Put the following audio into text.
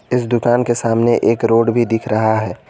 इस दुकान के सामने एक रोड भी दिख रहा है।